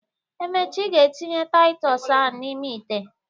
Emecha, ị ga etinye Taịtọs ahụ n'ime ite.